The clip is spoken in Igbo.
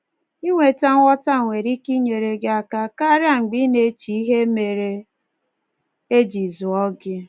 Inweta nghọta nwere ike inyere gị aka karịa mgbe ị na-eche ihe mere e ji zụọ gị